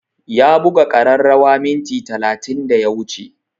Ya buga ƙararrawa minti talatin da ya wuce